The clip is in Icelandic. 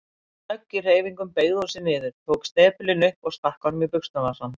Snögg í hreyfingum beygði hún sig niður, tók snepilinn upp og stakk honum í buxnavasann.